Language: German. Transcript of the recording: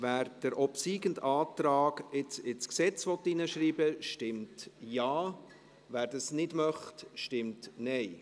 Wer den obsiegenden Antrag jetzt ins Gesetz hineinschreiben will, stimmt Ja, wer das nicht möchte, stimmt Nein.